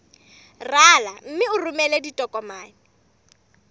rala mme o romele ditokomene